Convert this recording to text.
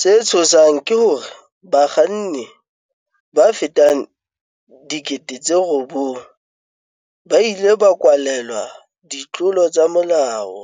Se tshosang ke hore bakga nni ba fetang 9,000 ba ile ba kwalelwa ditlolo tsa molao